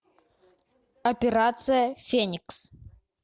операция феникс